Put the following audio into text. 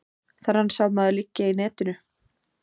Þennan sá maður liggja í netinu.